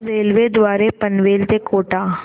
railway द्वारे पनवेल ते कोटा